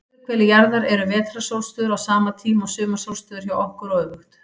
Á suðurhveli jarðar eru vetrarsólstöður á sama tíma og sumarsólstöður hjá okkur, og öfugt.